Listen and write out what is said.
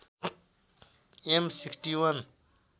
am ६१